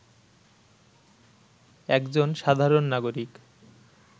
একজন সাধারণ নাগরিক